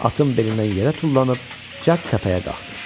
Atın belindən yerə tullanıb, cəld təpəyə qalxdı.